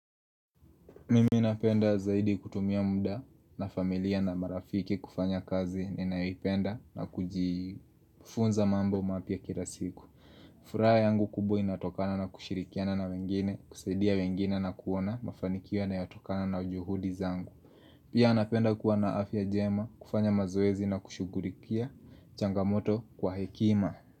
Mimi napenda zaidi kutumia muda na familia na marafiki kufanya kazi ninaipenda na kujifunza mambo mapia kila siku Furaya yangu kubo inatokana na kushirikiana na wengine, kusaidia wengine na kuona, mafanikia na yatokana na ujuhudi zangu Pia napenda kuwa na afya jema, kufanya mazoezi na kushugurikia, changamoto kwa hekima.